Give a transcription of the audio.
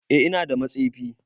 Eh ina da matsefi.